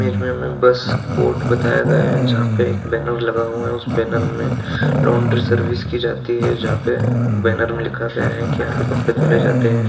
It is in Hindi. इस इमेज में बस बोर्ड बताया गया है जहाँ पे एक बैनर लगा हुआ है उस बैनर में लॉन्ड्री सर्विस की जाती है जहाँ पे बैनर में लिखा गया है की यहाँ पे कपड़े धुले जाते हैं।